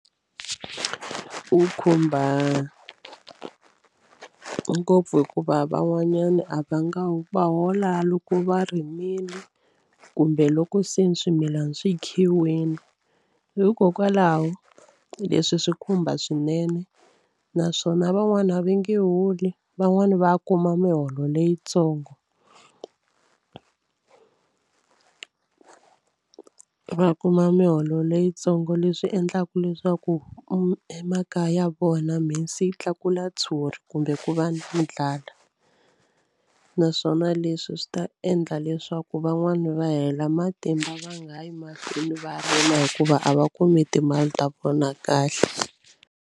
Wu khumba ngopfu hikuva van'wanyana a va nga va hola loko va rimile kumbe loko se ni swimilana swi khiwini hikokwalaho leswi swi khumba swinene naswona van'wani a va nge holi van'wani va kuma miholo leyitsongo va kuma miholo leyitsongo leswi endlaku leswaku emakaya ya vona mhisi yi tlakula tshuri kumbe ku va na ndlala naswona leswi swi ta endla leswaku van'wana va hela matimba va nga ha yi mahlweni va rima hikuva a va kumi timali ta vona kahle.